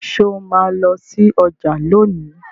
Ṣe o ma lọ sí ọjà lóni?